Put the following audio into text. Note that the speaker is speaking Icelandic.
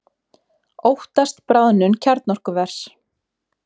Óttast bráðnun kjarnorkuvers